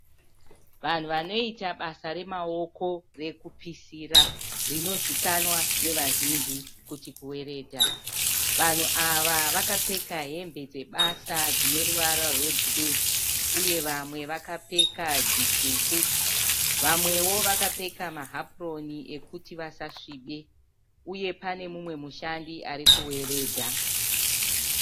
Vanhu vanoita basa remaoko rekupisira rinozikanwa nevazhinji kuti kuweredha. Vanhu ava vakapfeka hembe dzebasa dzineruvara rwebhuruu, umwe akapfeka ineruvara rutsvuku. Vamwe vakapfeka mahapuroni kuti vasasvibe uye panemumwe mushandi arikuweredha.